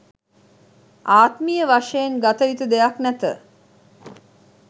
ආත්මීය වශයෙන් ගත යුතු දෙයක් නැත